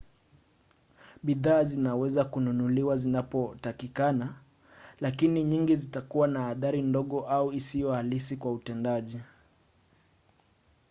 bidhaa zinaweza kununuliwa zinapotakikana lakini nyingi zitakuwa na athari ndogo au isiyo halisi kwa utendaji